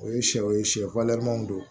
O ye sɛw ye sɛ waleyanw don